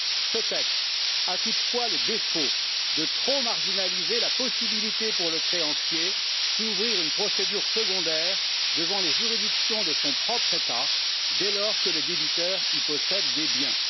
Ce texte a toutefois le défaut de trop marginaliser la possibilité pour le créancier d'ouvrir une procédure secondaire devant les juridictions de son propre État dès lors que le débiteur y possède des biens.